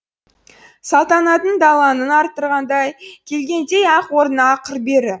салтанатын даланың арттырғандай келгендей ақ орнына ақыр бәрі